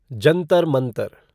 Jantar Mantar